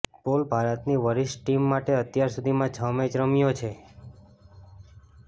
pole ભારતની વરિષ્ઠ team માટે અત્યાર સુધીમાં છ મેચ રમ્યો છે